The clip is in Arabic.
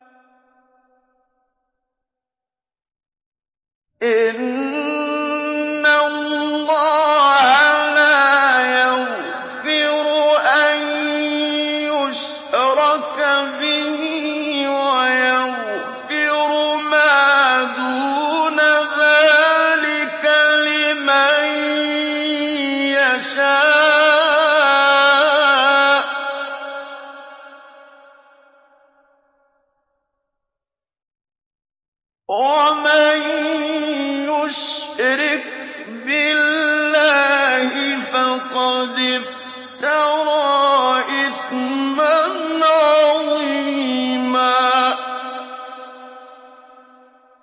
إِنَّ اللَّهَ لَا يَغْفِرُ أَن يُشْرَكَ بِهِ وَيَغْفِرُ مَا دُونَ ذَٰلِكَ لِمَن يَشَاءُ ۚ وَمَن يُشْرِكْ بِاللَّهِ فَقَدِ افْتَرَىٰ إِثْمًا عَظِيمًا